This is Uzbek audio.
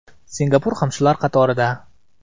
Singapur ham shular qatorida.